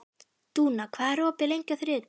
Dúna, hvað er opið lengi á þriðjudaginn?